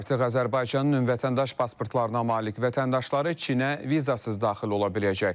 Artıq Azərbaycanın ümumi vətəndaş pasportlarına malik vətəndaşları Çinə vizasız daxil ola biləcək.